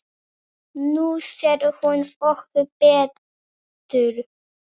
Nú sér hún okkur betur